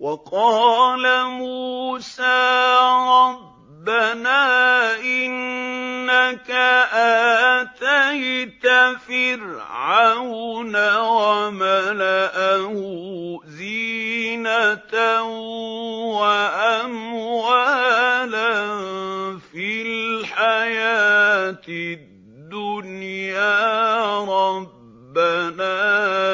وَقَالَ مُوسَىٰ رَبَّنَا إِنَّكَ آتَيْتَ فِرْعَوْنَ وَمَلَأَهُ زِينَةً وَأَمْوَالًا فِي الْحَيَاةِ الدُّنْيَا رَبَّنَا